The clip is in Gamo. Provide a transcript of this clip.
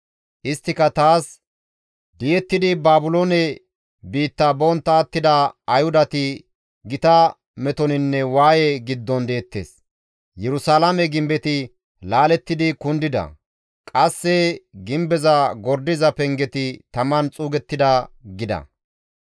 Isttika taas, «Di7ettidi Baabiloone biitta bontta attida Ayhudati gita metoninne waaye giddon deettes; Yerusalaame gimbetti laalettidi kundida; qasse gimbeza gordiza pengeti taman xuugettida» gida.